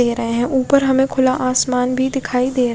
दे रहे है ऊपर हमे खुला आसमान भी दिखयी दे--